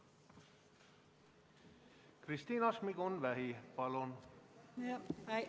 Kristina Šmigun-Vähi, palun!